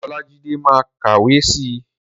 Olájídé ma kàwé si.